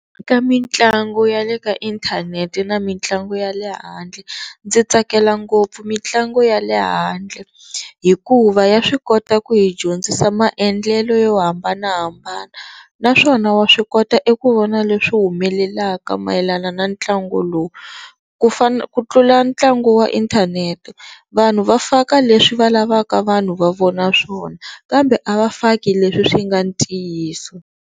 Ka mitlangu ya le ka inthanete na mitlangu ya le handle ndzi tsakela ngopfu mitlangu ya le handle hikuva ya swi kota ku hi dyondzisa maendlelelo yo hambanahambana naswona wa swi kota eku vona leswi humelelaka mayelana na ntlangu lowu ku ku tlula ntlangu wa inthanete, vanhu va faka leswi va lavaka vanhu va vona swona kambe a va faki leswi swi nga ntiyiso.